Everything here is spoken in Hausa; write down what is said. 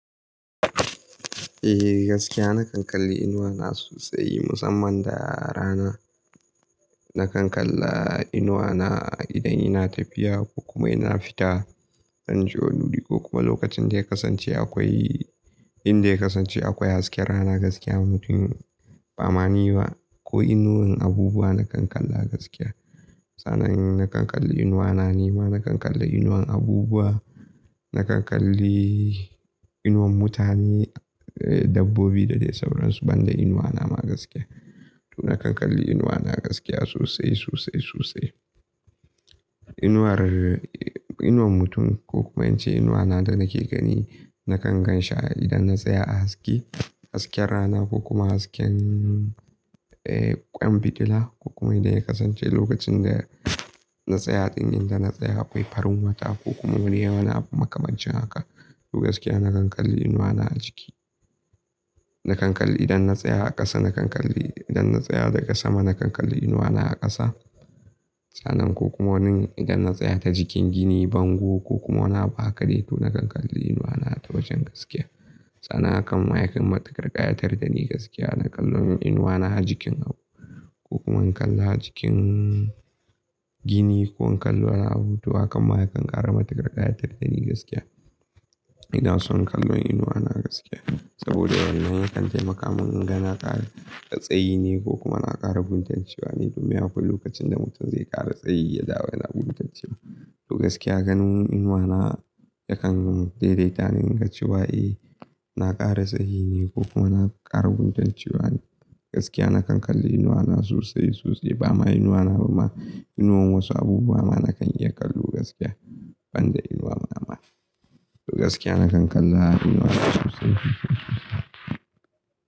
Eh gaskiya na kan kalli inuwa na sosai musamman da rana. Na kan kalla inuwa na idan ina tafiya ko kuma ina fita don je wani wuri ko kuma lokacin da ya kasance akwai inda ya kasance akwai hasken rana gaskiya mutum ba mani ba ko inuwar abubuwa na kan kalla gaskiya. Sanan na kan kalli inuwa na nima, na kan kalla inuwar abubuwa, na kan kalli inuwar mutane, dabbobi da dai sauransu banda inuwa na ma gaskiya. To na kan kalli inuwa na gaskiya sosai, sosai, sosai. Inuwar, inuwar mutum ko kuma in ce inuwa na da nake gani na kan gan shi a idan na tsaya a haske, hasken rana ko kuma hasken ƙwan fitila ko kuma idan ya kasance lokacin da na tsaya dan inda na tsaya akwai farin wata ko kuma wani yawan makamancin haka. To gaskiya na kan kalli inuwa na a jiki. Na kan kalli idan na tsaya a ƙasa na kan kalli, idan na tsaya daga sama na kan kalli inuwa na a ƙasa. Sanan ko kuma wani idan na tsaya ta jikin gini, bango ko kuma wani abu hakade to na kan kalli inuwa na ta wajen gaskiya. Sanan hakan ma ya kan matuƙar ƙaya tardani gaskiya, na kallo inuwa na a jikin abu ko kuma in kalla jikin gini ko in kalli wani abu to hakan ma ya kan ƙara matuƙarƙaya tartani gaskiya. Ina son kallon inuwa na gaskiya saboda wannan ya kan taimaka min in ga na ƙara tsayi ne ko kuma na ƙara guntancewa neba ne. Duniyya kullum lokacin da mutum zai ƙara tsayi ya zauna guntanci ba. To gaskiya ganin inuwa na ya kan daidaita ni in ga cewa eh na ƙara tsayi ne ko kuma na ƙara guntancewa ne. Gaskiya na kan kalli inuwa na sosai, sosai ba ma inuwa na ba ma inuwar wasu abubuwa ma na kan iya kallo gaskiya banda inuwa na ma. To gaskiya na kan kalla inuwa na sosai.